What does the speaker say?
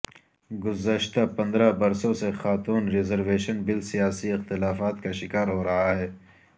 گزشتہ پندرہ برسوں سے خاتون ریزرویشن بل سیاسی اختلافات کا شکار ہورہا ہے